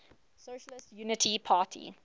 socialist unity party